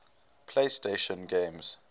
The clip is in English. playstation games